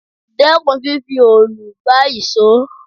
Dẹ́kun fífi òòlù gbá ìṣọ́!